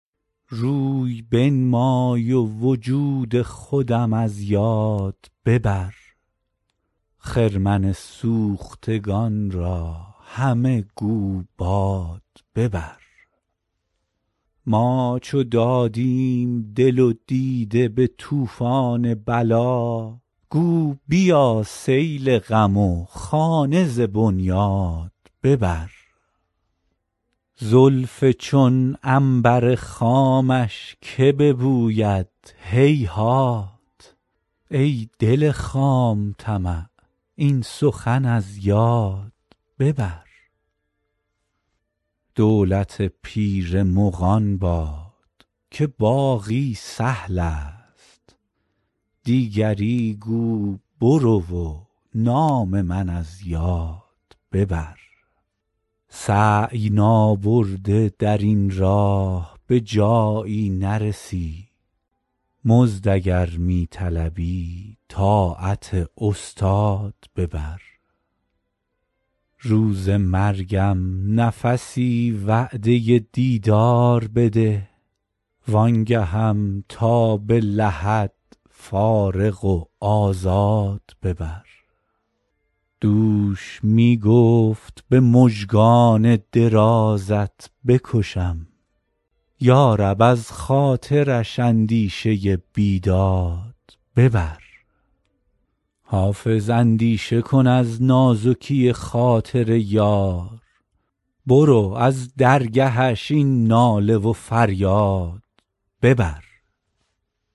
روی بنمای و وجود خودم از یاد ببر خرمن سوختگان را همه گو باد ببر ما چو دادیم دل و دیده به طوفان بلا گو بیا سیل غم و خانه ز بنیاد ببر زلف چون عنبر خامش که ببوید هیهات ای دل خام طمع این سخن از یاد ببر سینه گو شعله آتشکده فارس بکش دیده گو آب رخ دجله بغداد ببر دولت پیر مغان باد که باقی سهل است دیگری گو برو و نام من از یاد ببر سعی نابرده در این راه به جایی نرسی مزد اگر می طلبی طاعت استاد ببر روز مرگم نفسی وعده دیدار بده وآن گهم تا به لحد فارغ و آزاد ببر دوش می گفت به مژگان درازت بکشم یا رب از خاطرش اندیشه بیداد ببر حافظ اندیشه کن از نازکی خاطر یار برو از درگهش این ناله و فریاد ببر